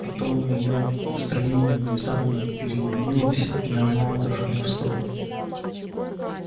потом её настроение внезапно переменилось и она отошла в сторону